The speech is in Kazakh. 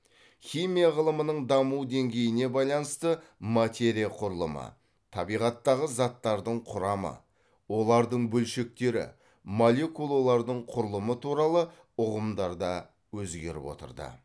химия ғылымының даму деңгейіне байланысты материя құрылымы табиғаттағы заттардың құрамы олардың бөлшектері молекулалардың құрылымы туралы ұғымдар да өзгеріп отырды